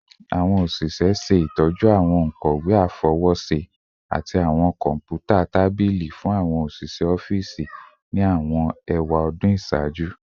Awọn oṣiṣẹ ṣe itọju awọn onkọwe afọwọṣe ati awọn kọnputa tabili fun awọn iṣẹ ọfiisi ni awọn ewadun iṣaaju